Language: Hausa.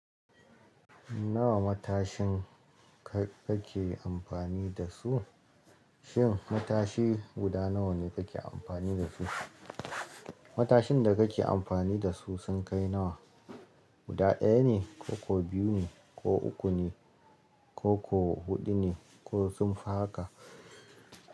Nawa matashin ka ke amfani da su? Shin matashi guda nawa ne ka ke amfani da su? Matashin da ka ke amfani da su sun kai nawa? Guda ɗaya ne, ko ko biyu ne, ko uku ne, ko ko huɗu ne, ko sun fi haka?